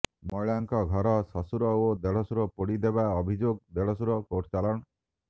ମହିଳାଙ୍କ ଘର ଶଶୁର ଓ ଦେଢଶୁର ପୋଡି ଦେବା ଅଭିଯୋଗ ଦେଢଶୁର କୋର୍ଟ ଚାଲାଣ